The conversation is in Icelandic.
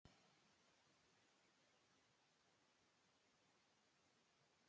Dagmar Ýr Stefánsdóttir: Og hvernig líst þér á starfið?